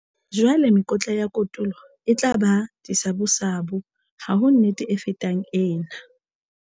Jwale mekotla ya kotulo e tla ba disabusabu. Ha ho nnete e fetang ena!